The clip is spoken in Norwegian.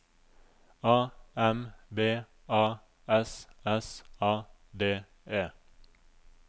A M B A S S A D E